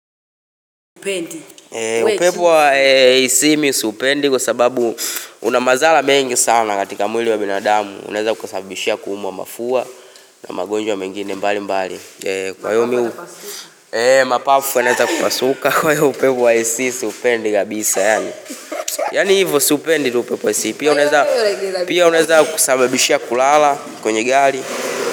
Upepo wa AC mi siupendi kwa sababu una madhara mengi sana katika mwili wa binadamu unaeza kusabibishia kuumwa mafua na magonjwa mengine mbali mbali Kwa hio mi hu mapafu yanaeza kupasuka kwa hio upepo wa AC siupendi kabisa Yani hivo siupendi tu upepo AC pia unaeza kusabibishia kulala kwenye gari.